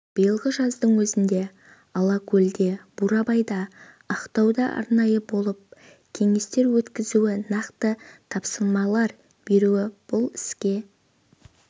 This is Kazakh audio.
биылғы жаздың өзінде алакөлде бурабайда ақтауда арнайы болып кеңестер өткізуі нақты тапсырмалар беруі бұл іске